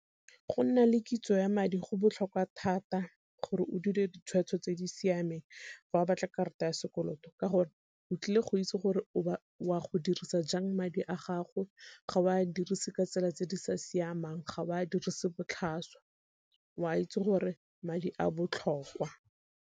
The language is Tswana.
Go nna le kitso ya madi go botlhokwa thata gore o dire ditshwetso tse di siameng fa o batla karata ya sekoloto ka gore o tlile go itse gore o a go dirisa jang madi a gago, ga o a dirise ka tsela tse di sa siamang ga o a dirise botlhaswa o a itse gore madi a botlhokwa.